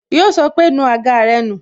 Yo sọ pé "nu àga rẹ nù"